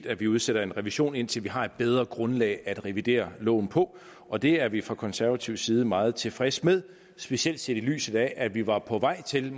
at vi udsætter en revision indtil vi har et bedre grundlag at revidere loven på og det er vi fra konservativ side meget tilfredse med specielt set i lyset af at vi måske var på vej til